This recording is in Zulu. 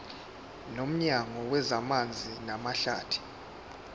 nomnyango wezamanzi namahlathi